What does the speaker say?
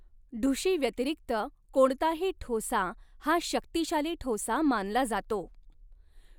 ढुशी व्यतिरिक्त कोणताही ठोसा हा शक्तिशाली ठोसा मानला जातो.